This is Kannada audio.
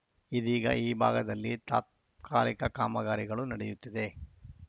ಇದೀಗ ಈ ಭಾಗದಲ್ಲಿ ತಾತ್ಕಾಲಿಕ ಕಾಮಗಾರಿಗಳು ನಡೆಯುತ್ತಿದೆ